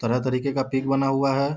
तरह तरीके का पिक बना हुआ है।